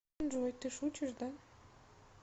джой ты шутишь да